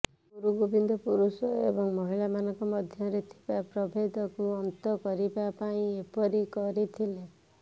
ଗୁରୁ ଗୋବିନ୍ଦ ପୁରୁଷ ଏବଂ ମହିଳା ମାନଙ୍କ ମଧ୍ୟରେ ଥିବା ପ୍ରଭେଦକୁ ଅନ୍ତ କରିବା ପାଇଁ ଏପରି କରିଥିଲେ